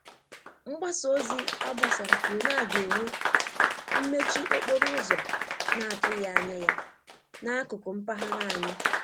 Mgbasa ozi agbasara kwuru na-aga enwe mmechi okporo ụzọ na atughi anya ya na akụkụ mpaghara anyi